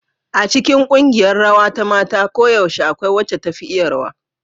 A cikin ƙungiyar rawa ta mata koyaushe akwai wacce da ta fi tafi iya rawa.